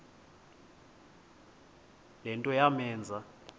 le nto yamenza